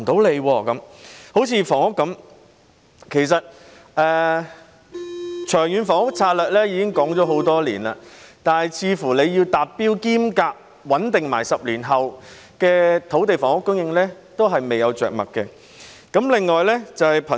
例如房屋，其實《長遠房屋策略》已經公布多年，但似乎就着何時達標並穩定10年後的土地房屋供應，政府仍未有着墨。